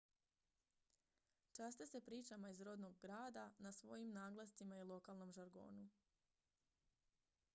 časte se pričama iz rodnog grada na svojim naglascima i lokalnom žargonu